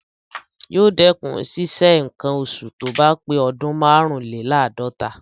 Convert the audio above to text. Yóò dẹkùn ṣísẹ nǹkan oṣù tóbá pé ọdún márùnlèláàdọ́ta.